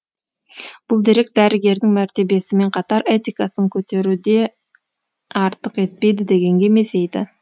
бұл дерек дәрігердің мәртебесімен қатар этикасын көтеру де артық етпейді дегенге мезейді